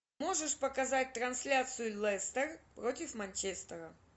можешь показать трансляцию лестер против манчестера